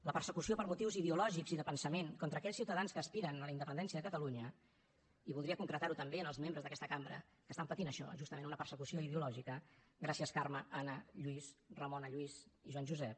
la persecució per motius ideològics i de pensament contra aquells ciutadans que aspiren a la independència de catalunya i voldria concretar ho també en els membres d’aquesta cambra que estan patint això justament una persecució ideològica gràcies carme anna lluís ramona lluís i joan josep